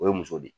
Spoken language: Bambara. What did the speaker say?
O ye muso de ye